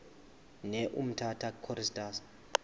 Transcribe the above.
ne umtata choristers